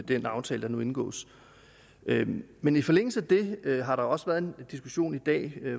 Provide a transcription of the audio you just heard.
den aftale der nu indgås men i forlængelse af det har der også været en diskussion i dag